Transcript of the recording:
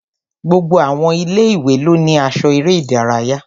Gbogbo àwọn ilé-ìwé ló ní aṣọ eré ìdárayá